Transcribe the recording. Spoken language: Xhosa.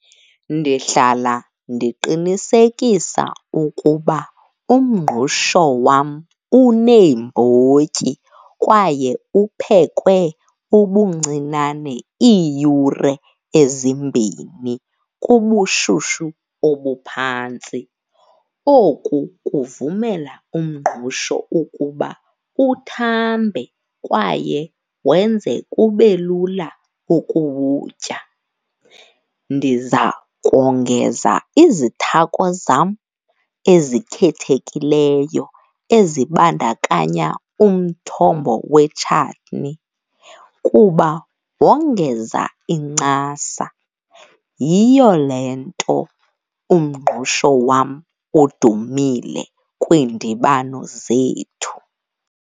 Ndihlala ndiqinisekisa ukuba umngqusho wam uneembotyi kwaye uphekwe ubuncinane iiyure ezimbini kubushushu obuphantsi. Oku kuvumela umngqusho ukuba uthambe kwaye wenze kube lula ukuwutya. Ndiza kongeza izithako zam ezikhethekileyo ezibandakanya umthombo wetshatni kuba wongeza incasa, yiyo le nto umngqusho wam udumile kwiindibano zethu.